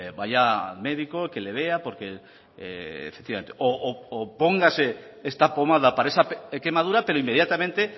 vaya el médico que le vea o póngase esta pomada para esa quemadura pero inmediatamente